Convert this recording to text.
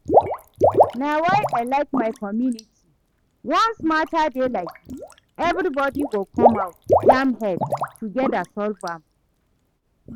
Na why I like my community, once matter dey like dis everybody go come out jam head together solve am